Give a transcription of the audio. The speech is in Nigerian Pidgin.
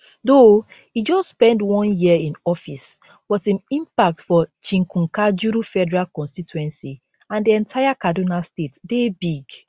though e just spend one year in office but im impact for chikunkajuru federal constituency and di entire kaduna state dey big